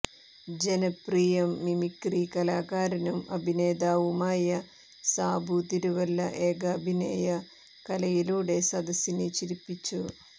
ജനപ്രിയ മിമിക്രി കലാകാരനും അഭിനേതാവുമായ സാബു തിരുവല്ല ഏകാഭിനയ കലയിലൂടെ സദസ്സിനെ ചിരിപ്പിച്ചു